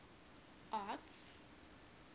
arts